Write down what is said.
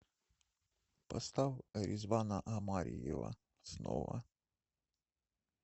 поставь ризвана омариева снова